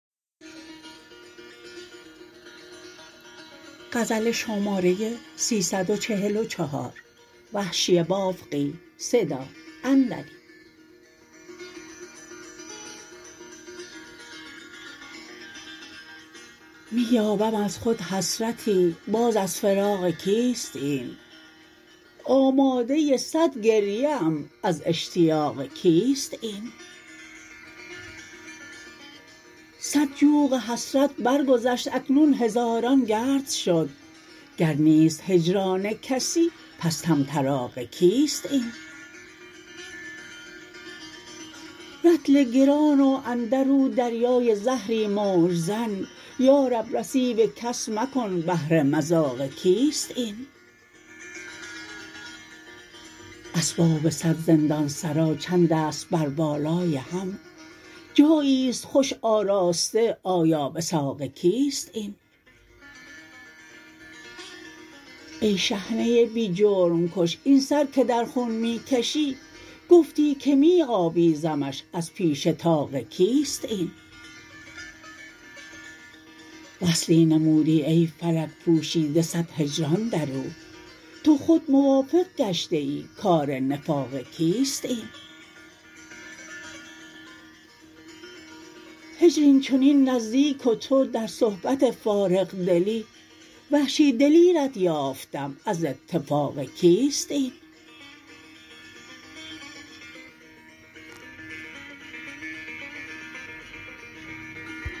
می یابم از خود حسرتی باز از فراق کیست این آماده سد گریه ام از اشتیاق کیست این سد جوق حسرت بر گذشت اکنون هزاران گرد شد گر نیست هجران کسی پس طمطراق کیست این رطل گران و اندر او دریای زهری موج زن یارب نصیب کس مکن بهر مذاق کیست این اسباب سد زندان سرا چندست بر بالای هم جایی است خوش آراسته آیا وثاق کیست این ای شحنه بی جرم کش این سر که در خون می کشی گفتی که می آویزمش از پیش طاق کیست این وصلی نمودی ای فلک پوشیده سد هجران در او تو خود موافق گشته ای کار نفاق کیست این هجر اینچنین نزدیک و تو در صحبت فارغ دلی وحشی دلیرت یافتم از اتفاق کیست این